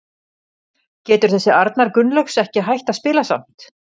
Getur þessi Arnar Gunnlaugs ekki hætt að spila samt?